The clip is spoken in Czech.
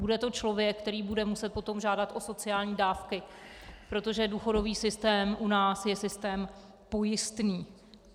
Bude to člověk, který bude muset potom žádat o sociální dávky, protože důchodový systém u nás je systém pojistný.